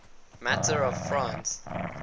matter of france